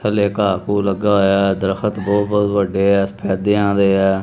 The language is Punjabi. ਥੱਲੇ ਕਾਹ ਫੂ ਲੱਗਾ ਹੋਇਆ ਦਰਖਤ ਬਹੁਤ ਵੱਡੇ ਸਫੈਦਿਆਂ ਦੇ ਹੇ।